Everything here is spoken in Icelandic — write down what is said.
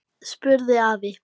spurði afi.